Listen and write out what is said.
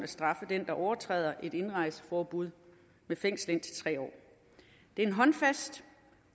straffe den der overtræder et indrejseforbud med fængsel i indtil tre år det er en håndfast